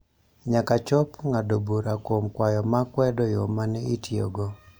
nyaka chop ng�ado bura kuom kwayo ma kwedo yo ma ne itiyogo.